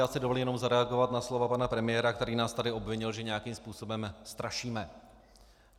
Já si dovolím jenom zareagovat na slova pana premiéra, který nás tady obvinil, že nějakým způsobem strašíme.